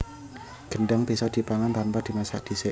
Gedhang bisa dipangan tanpa dimasak dhisik